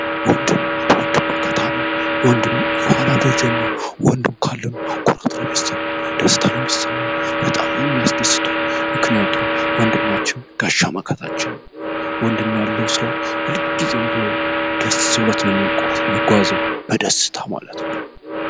ወንድም ወንድም መከታ ነው ፣ወንድም የኋላ ደጀን ነው ፣ወንድም ካለን ኩራት ነው ሚሰማን ፣ደስታ ነው ሚሰማን ፣በጣም ነው የሚያስደስተው ምክንያቱም ወንድማችን ጋሻ መከታችን ነው። ወንድም ያለው ሰው ሁልጊዜም ቢሆን ደስ ብሎት ነው የሚጓዘው በደስታ ማለት ነው።